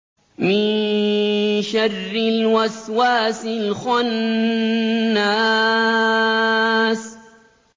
مِن شَرِّ الْوَسْوَاسِ الْخَنَّاسِ